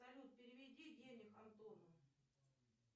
салют переведи денег антону